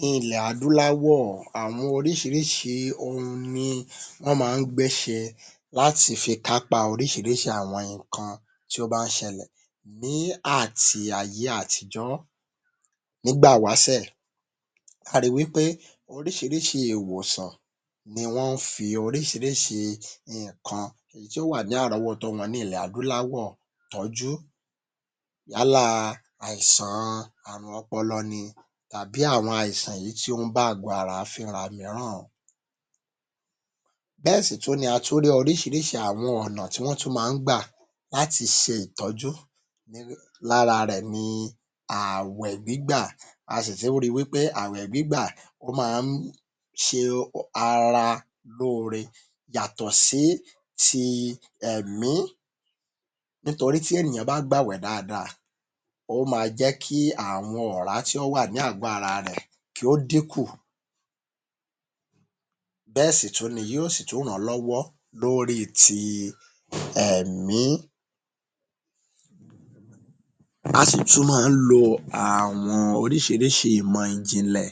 Ní ilẹ̀ adúláwọ̀ àwọn oríṣiríṣi ohun ni wọ́n ma ń gbé’ṣe láti fi kápá oríṣiríṣi àwọn nǹkan tí ó bá ń ṣẹlẹ̀ ní àti ayé àtijọ́. Nígbà ìwásẹ̀ a ri wí pé oríṣiríṣi ìwòsàn ni wọ́n ń fi oríṣiríṣi nǹkan èyí tí ó wà ní àrọ́wọ́tó wọn ní ilẹ̀ adúláwọ̀ tọ́jú yálà àìsàn àrùn ọpọlọ ni tàbí àwọn àìsàn èyí tí ó ń bá àgó ara fínra mìíràn. Bẹ́ẹ̀ sì tún ni a tún rí àwọn oríṣiríṣi àwọn ònà tí wọ́n tún ma ń gbà láti ṣe ìtọ́jú lára rẹ̀ ni ààwẹ̀ gbígbà. A sì tún ri wí pé ààwẹ̀ gbígbà máa ń ṣe ara lóore yàtọ̀ sí ti ẹ̀mí nítorí tí ènìyàn bá gbààwẹ̀ dáadáa ó ma jẹ́ kí àwọn ọ̀rá tí ó wà ní àgó ara rẹ̀ kí ó dínkù bẹ́ẹ̀ sì tún ni yóò sì tún ràn án lọ́wọ́ lórí i ti ẹ̀mí. A sì tún ma ń lo àwọn oríṣiríṣi ìmọ̀ ìjìnlẹ̀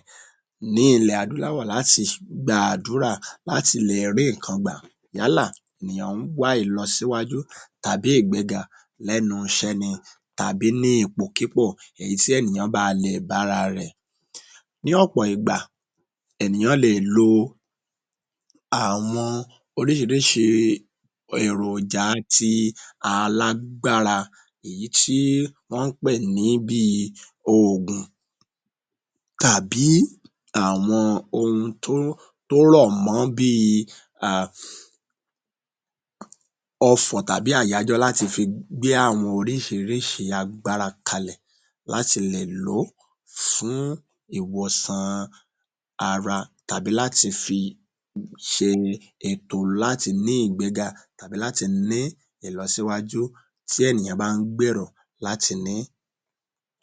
ní ilè adúláwọ̀ láti gbàdúrà láti lè rí ǹkan gbà yálà ènìyàn ń wá ìlọsíwájú tàbí ìgbéga lẹ́nu iṣẹ́ ni tàbí ní ipòkípò tí ènìyàn bá bá lè bára rẹ̀. Ní ọ̀pọ̀ ìgbà ènìyàn lè è lo àwọn oríṣiríṣi èròjà ti alágbára èyí tí wọ́n ń pè ní bí i oògùn tàbí àwọn ohun tó rọ̀ mọ́ bí i ..ọfọ̀ tàbí àyájọ́ láti fi gbé àwọn oríṣiríṣi agbára kalẹ̀ láti lè lò ó fún ìwòsàn ara tàbí láti fi ṣe ètò láti ní ìgbéga tàbí láti ní ìlọsíwájú tí ènìyàn bá ń gbèrò láti ní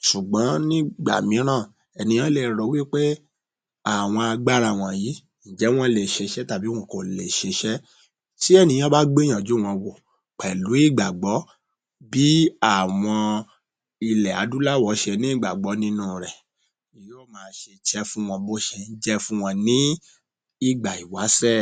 ṣùgbón ní ìgbà míràn ènìyàn le ro ó wí pé àwọn agbára wọ̀nyí..ǹjẹ́ wọ́n le è ṣiṣẹ́ tàbí wọn kò lè ṣiṣẹ́?. Tí ènìyàn bá gbìyànjú wọn wò pẹ̀lú ìgbàgbọ́ bí àwọn ilẹ̀ adúláwọ̀ ṣe ní ìgbàgbọ́ nínú u rẹ̀ yóò máa ṣiṣẹ́ fún wọn bí ó ṣe ń jẹ́ fún wọn ní ìgbà ìwásẹ̀.